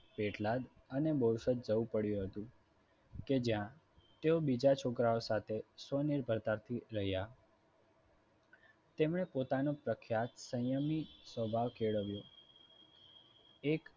પેટલાદ અને બોરસદ જવું પડ્યું હતું. કે જ્યાં તેઓ બીજા છોકરાઓ સાથે સ્વનિર્ભરતાથી રહ્યા તેમણે પોતાનો પ્રખ્યાત સંયમી સ્વભાવ કેળવ્યો એક